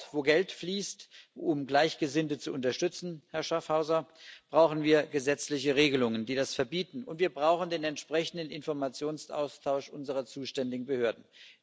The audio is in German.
Dort, wo Geld fließt, um Gleichgesinnte zu unterstützen, Herr Schaffhauser, brauchen wir gesetzliche Regelungen, die das verbieten, und wir brauchen den entsprechenden Informationsaustausch unserer zuständigen Behörden.